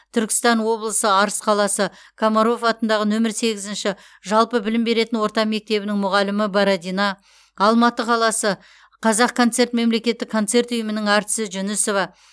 түркістан облысы арыс қаласы комаров атындағы нөмір сегізінші жалпы білім беретін орта мектебінің мұғалімі бородина алматы қаласы қазақконцерт мемлекеттік концерт ұйымының әртісі жүнісова